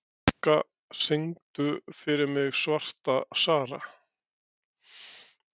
Rikka, syngdu fyrir mig „Svarta Sara“.